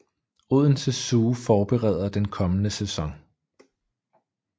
Odense Zoo forbereder den kommende sæson